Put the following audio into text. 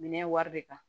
Minɛn wari bɛ ta